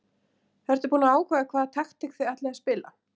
Ertu búinn að ákveða hvaða taktík þið ætlið að spila?